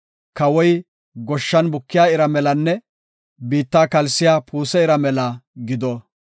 Kawoy goshshan bukiya ira melanne biitta kalsiya puuse ira mela gido.